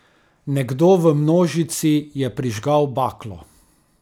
Nekdo v množici je prižgal baklo.